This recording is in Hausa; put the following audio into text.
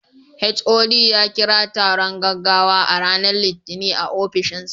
HOD ya kira taron gaggawa a ranar Litinin a ofishinsa.